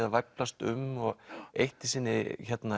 að væflast um og eitt í sinni